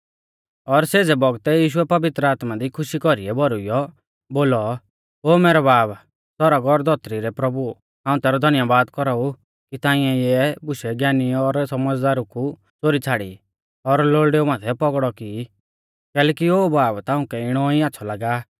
और सेज़ै बौगतै यीशुऐ पवित्र आत्मा दी खुशी कौरीऐ भौरुइऔ बोलौ ओ मैरौ बाब सौरग और धौतरी रै प्रभु हाऊं तैरौ धन्यबाद कौराऊ कि ताऐं इऐ बुशै ज्ञानी और सौमझ़दारु कु च़ोरी छ़ाड़ी और लोल़डेऊ माथै पौगड़ौ की कैलैकि ओ बाब ताउंकै इणौ ई आच़्छ़ौ लागा